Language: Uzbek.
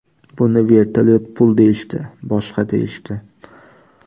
Buni vertolyot pul deyishdi, boshqa deyishdi.